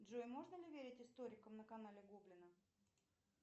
джой можно ли верить историкам на канале гоблина